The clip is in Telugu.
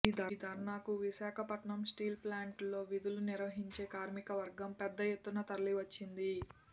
ఈ ధర్నాకు విశాఖపట్నం స్టీల్ ప్లాంట్లో విధులు నిర్వహించే కార్మికవర్గం పెద్ద ఎత్తున తరలివచ్చింది